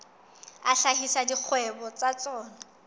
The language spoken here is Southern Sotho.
a hlahisa dikgwebo tsa tsona